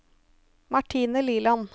Martine Liland